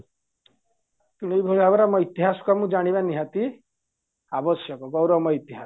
ତେଣୁ ଏଇଭଳି ଭାବରେ ଆମ ଇତିହାସ ଜାଣିବା ଆମକୁ ନିହାତି ଆବଶ୍ୟକ ଗୌରବମୟ ଇତିହାସ